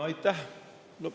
Aitäh!